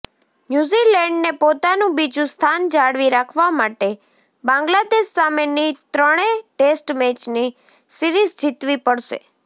ન્યૂઝીલેન્ડને પોતાનું બીજું સ્થાન જાળવી રાખવા માટે બાંગ્લાદેશ સામેની ત્રણે ટેસ્ટ મેચની સીરિઝ જીતવી પડશે